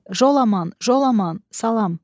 Jolaman, Jolaman, salam.